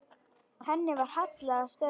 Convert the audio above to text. Henni var hallað að stöfum.